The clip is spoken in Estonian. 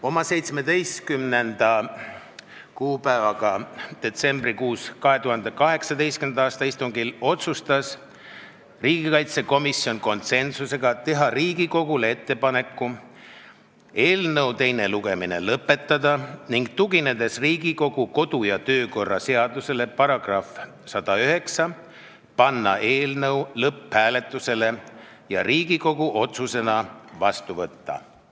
Oma 17. detsembri 2018. aasta istungil otsustas riigikaitsekomisjon konsensuslikult teha Riigikogule ettepaneku eelnõu teine lugemine lõpetada ning Riigikogu kodu- ja töökorra seaduse §-le 109 tuginedes tehakse ettepanek panna eelnõu lõpphääletusele ja Riigikogu otsusena vastu võtta.